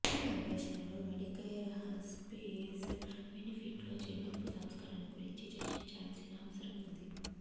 ఈ అన్వేషణలు Medicare hospice బెనిఫిట్లో చెల్లింపు సంస్కరణ గురించి చర్చించాల్సిన అవసరం ఉంది